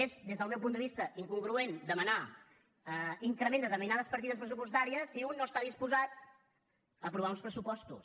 és des del meu punt de vista incongruent demanar increment de determinades partides pressupostàries si un no està disposat a aprovar uns pressupostos